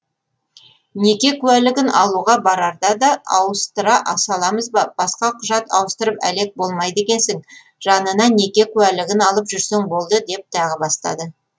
неке куәлігін алуға барарда да ауыстыра саламыз ба басқа құжат ауыстырып әлек болмайды екенсің жанына неке куәлігін алып жүрсең болды деп тағы бастады